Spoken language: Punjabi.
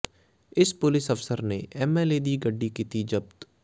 ਇਸ ਪੁਲਿਸ ਅਫਸਰ ਨੇ ਐੱਮ ਐੱਲ ਏ ਦੀ ਗੱਡੀ ਕੀਤੀ ਜ਼ਬਤ